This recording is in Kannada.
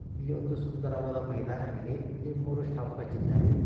ಇಲ್ಲಿ ಒಂದು ಸುಂದರವಾದ್ ಮೈದಾನವಿದೆ ಅಲ್ಲಿ ಮೂರೂ ಸ್ಟಂಪ್ ಇಟ್ಟಿದ್ದಾರೆ.